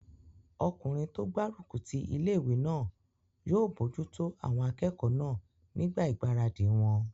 Ọkùnrin tó gbárùkù ti ilé-ìwé náà yóò bojútó àwọn akẹ́kọ̀ọ́ náà nígbà ìgbáradì wọn